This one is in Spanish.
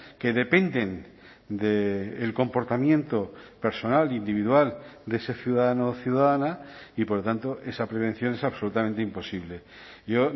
que dependen del comportamiento personal individual de ese ciudadano o ciudadana y por lo tanto esa prevención es absolutamente imposible yo